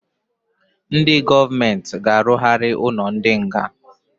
Ndị gọọment g'arugharị ụnọ ndị nga.